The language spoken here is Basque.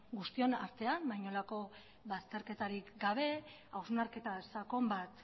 guztion artean inolako bazterketarik gabe hausnarketa sakon bat